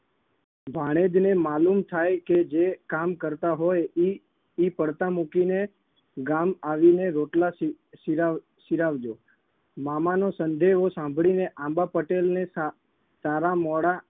ભાણેજને માલૂમ થાય કે જે કામ કરતા હોય ઈ ઈ પડતા મૂકીને ગામ આવીને રોટલા સિ સિલાવ સિરાવજો. મામાનો સંદેહો સાંભળીને આંબા પટેલને સારા મોડા